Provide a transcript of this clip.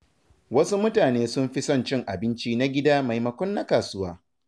Wasu mutane sun fi son cin abinci na gida maimakon na kasuwa.